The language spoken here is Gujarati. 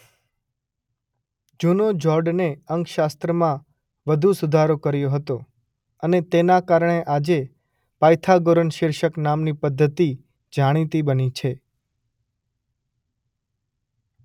જૂનો જોર્ડને અંકશાસ્ત્રમાં વધુ સુધારો કર્યો હતો અને તેના કારણે આજે પાયથાગોરન શિર્ષક નામની પદ્ધતિ જાણીતી બની છે.